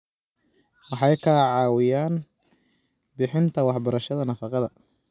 Waxay ka caawiyaan bixinta waxbarashada nafaqada.